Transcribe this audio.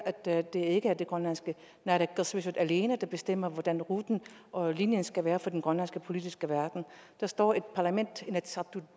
at det ikke er det grønlandske naalakkersuisut alene der bestemmer hvordan ruten og linjen skal være for den grønlandske politiske verden der står et parlament inatsisartut